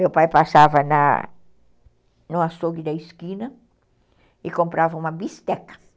Meu pai passava na no açougue da esquina e comprava uma bisteca.